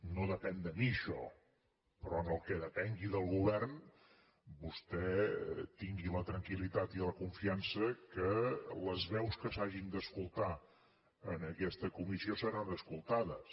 no depèn de mi això però en el que depengui del govern vostè tingui la tranquil·litat i la confiança que les veus que s’hagin d’escoltar en aquesta comissió seran escoltades